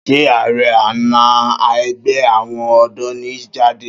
Ṣé ààrẹ àná ẹgbẹ́ àwọn ọ̀dọ́ ni Jídé?